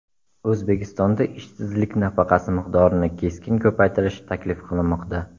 O‘zbekistonda ishsizlik nafaqasi miqdorini keskin ko‘paytirish taklif qilinmoqda.